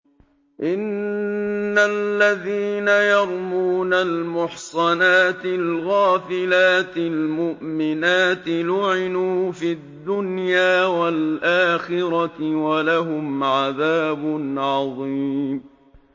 إِنَّ الَّذِينَ يَرْمُونَ الْمُحْصَنَاتِ الْغَافِلَاتِ الْمُؤْمِنَاتِ لُعِنُوا فِي الدُّنْيَا وَالْآخِرَةِ وَلَهُمْ عَذَابٌ عَظِيمٌ